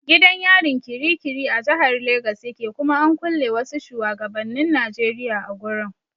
Gidan yarin kirikiri a jahar legas yake kuma an kulle wasu shuwagabannin Najeriya a gurin.